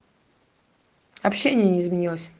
общение не изменилось